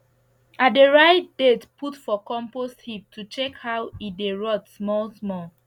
i dey write date put for compost heap to check how e dey rot small small